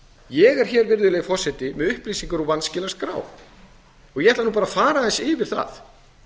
ég er með upplýsingar úr vanskilaskrá og ég ætla að fara aðeins yfir það